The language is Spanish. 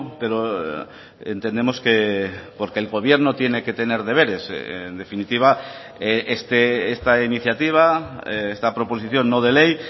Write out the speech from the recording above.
pero entendemos porque el gobierno tiene que tener deberes en definitiva esta iniciativa esta proposición no de ley